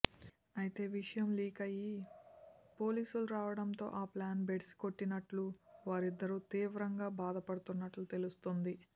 అయితే విషయం లీక్ అయి పోలీసులు రావడంతో ఆ ప్లాన్ బెడిసికొట్టినట్టు వారిద్దరూ తీవ్రంగా బాధపడుతున్నట్టు తెలుస్తోంది